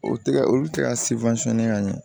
O tɛgɛ olu tɛ ka ka ɲɛ